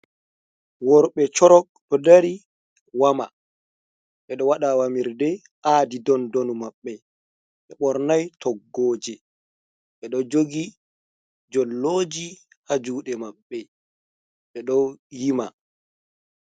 Worɓe sorok ɗo dari wama ɓe ɗo wada wamirɗe adi ɗon ɗonu mabbe ɓe bornai toggoji ɓe ɗo jogi jolloji ha juɗe maɓɓe ɓe ɗo yima.